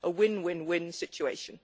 A win win win situation.